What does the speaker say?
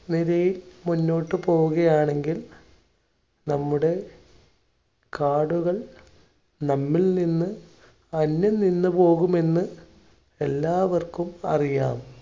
നിലയിൽ മുന്നോട്ടു പോവുകയാണെങ്കിൽ നമ്മുടെ കാടുകൾ നമ്മളിൽ നിന്ന് അന്യം നിന്ന് പോകുമെന്ന് എല്ലാവർക്കും അറിയാം.